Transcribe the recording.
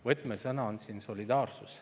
Võtmesõna on siin solidaarsus.